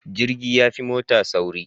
Jirgi yafi mota sauri